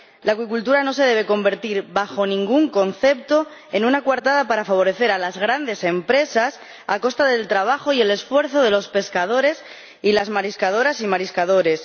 La acuicultura no se debe convertir, bajo ningún concepto, en una coartada para favorecer a las grandes empresas a costa del trabajo y el esfuerzo de los pescadores y las mariscadoras y mariscadores.